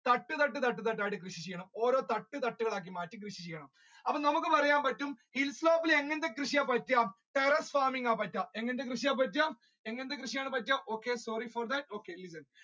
തട്ട് തട്ടായിട്ട് കൃഷി ചെയ്യണം ഓരോ തട്ട് തട്ട് കളായിട്ട്മാറ്റി കൃഷി ചെയ്യണം അപ്പൊ നമ്മുക്ക് പറയാൻ പറ്റും hill slope ഇൽ എങ്ങനത്തെ കൃഷി terrace farming ആണ് പറ്റുക എങ്ങനത്തെ കൃഷി ആണ് പറ്റുക എങ്ങനത്തെ കൃഷി ആണ് പറ്റുക okay sorry for that